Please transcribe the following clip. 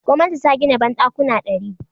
Gwamnati ta gina banɗakuna ɗari.